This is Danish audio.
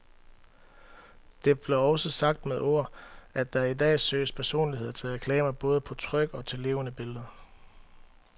Det blev også sagt med ord, at der i dag søges personligheder til reklamer både på tryk og til levende billeder.